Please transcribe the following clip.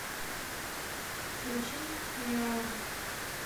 включи киара